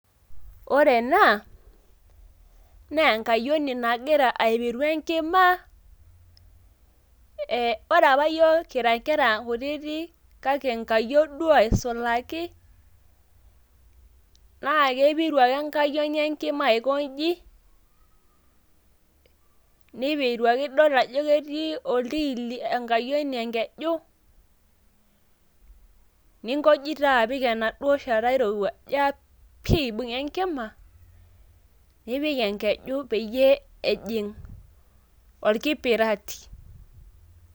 ore ena naaenkayioni nagira aipiru enkima .ee ore apa yiok kira inkera kutitik kake nkayiok duoo aisulaki naa keipiru ake enkayioni enkima aikonji ,nipiru ake ore pidol ajo ketii oltiili enkayioni enkeju ninkoji duo shata irowua .injo ake pi eibunga enkima ,nipikenkeju peyie ejing orkipirati.